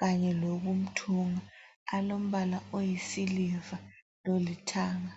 kanye lokumthunga. Alombala oyisiliva lolithanga.